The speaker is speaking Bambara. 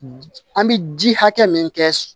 An bɛ ji hakɛ min kɛ